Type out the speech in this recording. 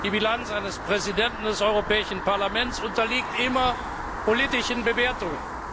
Auch die Bilanz eines Präsidenten des Europäischen Parlaments unterliegt immer politischen Bewertungen.